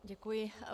Děkuji.